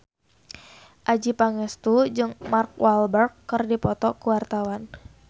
Adjie Pangestu jeung Mark Walberg keur dipoto ku wartawan